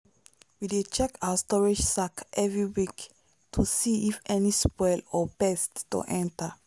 we dey check our storage sack every week to see if any spoil or pest don enter.